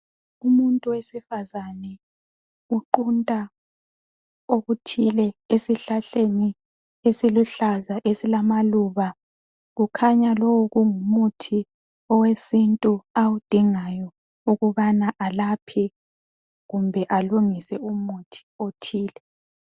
Umuntu wesifazane uqunta okuthile esihlahleni esiluhlaza esilamaluba, kukhanya lowu kungumuthi owesintu awudingayo ukubana alaphe kumbe alungise umuthi othile.